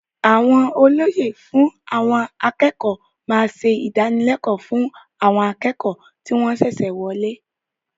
Àwọn olóyè fún àwọn akẹ́kọ̀ọ́ máa ṣe ìdánilẹ́kọ̀ọ́ fún àwọn akẹ́kọ̀ọ́ tí wọn ṣẹ̀ṣẹ̀ wọlé.